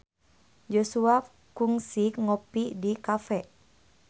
Joshua kungsi ngopi di cafe